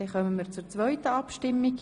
Wir kommen zur zweiten Abstimmung.